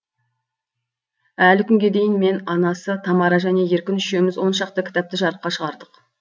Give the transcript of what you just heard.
әлі күнге дейін мен анасы тамара және еркін үшеуміз он шақты кітапты жарыққа шығардық